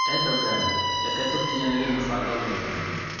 Endogan: ' Reke tũkinyanirie mũbango mwega!'